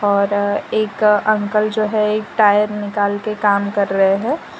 और एक अंकल जो है एक टायर निकल कर काम कर रहे हैं।